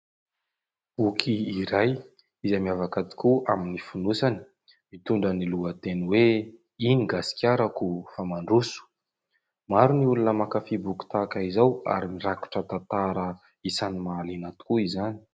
Boky iray izay miavaka tokoa amin'ny fonosany mitondra ny lohateny hoe: "Iny gasikarako fa mandroso" maro ny olona mankafia boky tahaka izao ary mirakitra tantara isan'ny mahaliana tokoa izany.